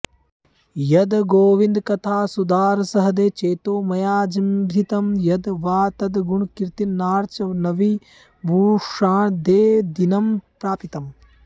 यद् गोविन्दकथासुधारसह्रदे चेतो मया जृम्भितं यद् वा तद्गुणकीर्तनार्चनविभूषाद्यैर्दिनं प्रापितम्